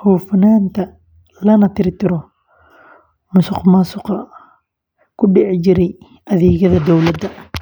hufnaanta, lana tirtiro musuqmaasuqa ku dhici jiray adeegyada dowladda.